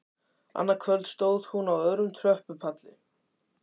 Annað kvöld stóð hún á öðrum tröppupalli.